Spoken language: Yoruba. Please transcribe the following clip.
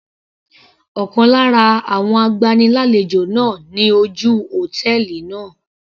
Ọ̀kan lára àwọn agbani lálejò náà ni ojú hòtẹ́ẹ̀lì náà.